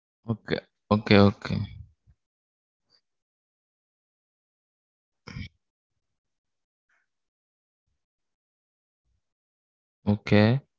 Okay. okay okay. okay.